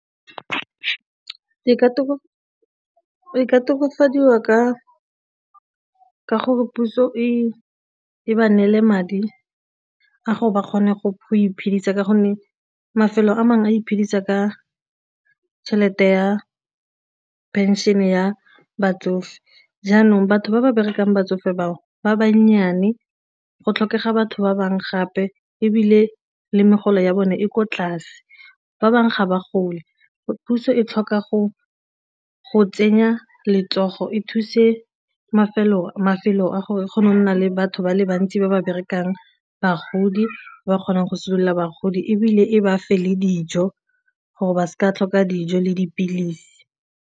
E ka tokafadiwa ka gore puso e e ba neele madi a go ba kgone go iphedisa ka gonne mafelo a mangwe a iphedisa ka tšhelete ya pension ya batsofe jaanong batho ba ba berekang batsofe bao ba banyane go tlhokega batho ba bangwe gape ebile le megolo ya bone e kwa tlase, ba bangwe ga ba gole, puso e tlhoka go tsenya letsogo e thuse mafelo a gore e kgone go nna le batho ba le bantsi ba ba berekang bagodi ba kgonang go se duela bagodi ebile ba fa le dijo gore ba seka tlhoka dijo le dipilisi.